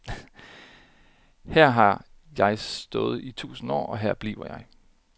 Her har jeg stået i tusind år, og her bliver jeg.